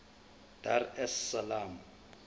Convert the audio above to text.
dar es salaam